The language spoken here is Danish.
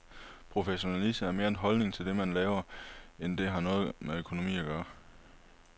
Professionalisme er mere en holdning til det, man laver, end det har noget med økonomi at gøre.